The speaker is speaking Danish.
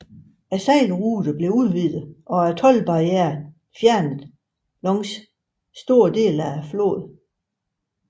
Sejlruten blev udvidet og toldbarriererne fjernet langs store dele af floden